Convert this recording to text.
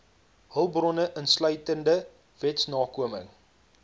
hulpbronne insluitende wetsnakoming